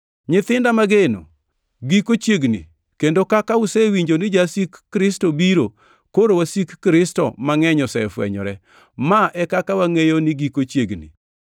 Nyithinda mageno, giko chiegni kendo kaka usewinjo ni jasik Kristo biro, koro wasik Kristo mangʼeny osefwenyore. Ma e kaka wangʼeyo ni giko chiegni.